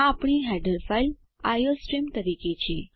આ આપણી header file iostream તરીકે છે